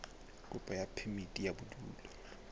kopo ya phemiti ya bodulo